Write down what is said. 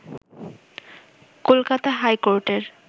কলকাতা হাইকোর্টের